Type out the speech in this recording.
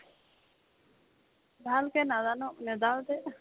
ভালকে নাজানো নেজানো দে